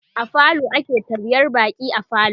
a falo ake taryar baƙi a falo